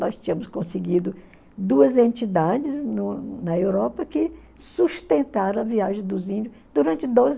Nós tínhamos conseguido duas entidades no na Europa que sustentaram a viagem dos índios durante doze